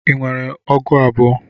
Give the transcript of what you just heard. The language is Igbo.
Ị nwere ọgụ abụọ?